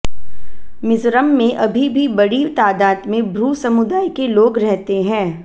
मिजोरम में अभी भी बड़ी तादाद में ब्रू समुदाय के लोग रहते हैं